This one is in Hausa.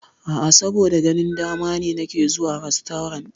A'a, saboda ganin dama ne nake zuwa rastorant.